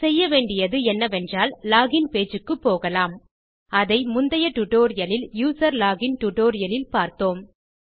செய்ய வேன்டியது என்ன என்றால் லோகின் pageக்கு போகலாம் அதை முந்தைய டியூட்டோரியல் இல் யூசர்லாகின் டியூட்டோரியல் இல் பார்த்தோம்